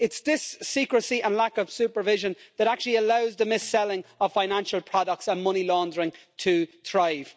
It's this secrecy and lack of supervision that actually allows the mis-selling of financial products and money laundering to thrive.